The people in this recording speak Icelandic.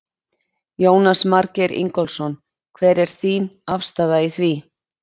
Jónas Margeir Ingólfsson: Hver er þín afstaða í því?